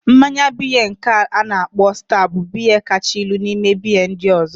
Mmanya biya nke a na-akpo sta bụ biya kacha ilu n'ime biya ndị ọzọ